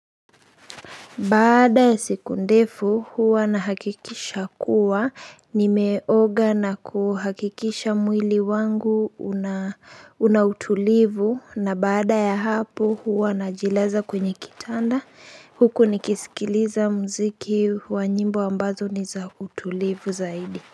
Baada ya siku ndefu huwa nahakikisha kuwa nimeoga na kuhakikisha mwili wangu una unautulivu na baada ya hapo huwa najilaza kwenye kitanda huku nikisikiliza muziki wa nyimbo ambazo ni za utulivu zaidi.